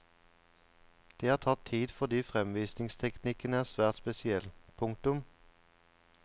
Det har tatt tid fordi fremvisningsteknikken er svært spesiell. punktum